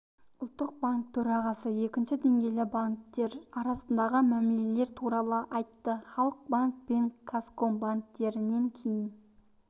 ұлттық банк төрағасы екінші деңгейлі банктер арасындағы мәмілелер туралы айтты халық банк пен қазком банктерінен кейін